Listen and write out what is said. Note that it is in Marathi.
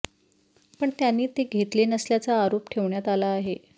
पण त्यांनी ते घेतले नसल्याचा आरोप ठेवण्यात आला आहे